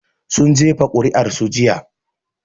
Sun jefa kuri'ar su jiya